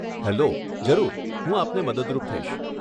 Hello, જરૂર, હું આપને મદદરૂપ થઈશ.